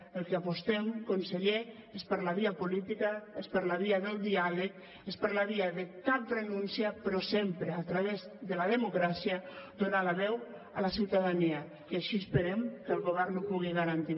pel que apostem conseller és per la via política és per la via del diàleg és per la via de cap renúncia però sempre a través de la democràcia donar la veu a la ciutadania i així esperem que el govern ho pugui garantir